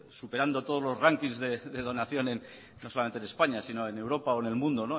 superando todos los ranking de donación no solamente en españa sino en europa o en el mundo